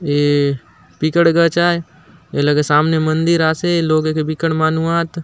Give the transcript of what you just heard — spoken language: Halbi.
ये पिकड़ गच आय ए लगे सामने मंदिर आसे लोग ए के बिक्कट मानुआत ।